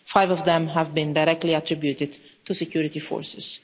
Five of them have been directly attributed to the security forces.